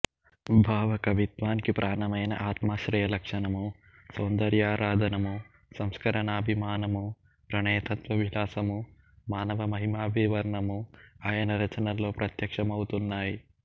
భావకవిత్వానికి ప్రాణమైన ఆత్మాశ్రయ లక్షణమూ సౌందర్యారాధనమూ సంస్కరనాభిమానమూ ప్రణయతత్వ విలాసమూ మానవ మహిమాభివర్ణనమూఆయనరచనల్లో ప్రత్యక్షమవుతున్నాయి